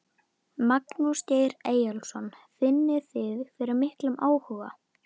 Magnús Geir Eyjólfsson: Finnið þið fyrir miklum áhuga?